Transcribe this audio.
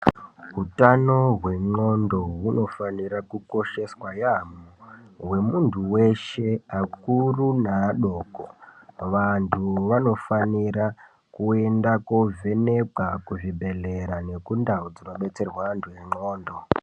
hutano wendxondo hunofanira kukosheswa yaamho wemuntu weshe vakuru nevadoko vantu vanofanira kuenda kovhenekwa kuzvibhedhlera nekundau dzinobetserwa vanhu vendxondo .